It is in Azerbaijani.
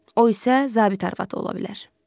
O isə zabit arvadı ola bilər.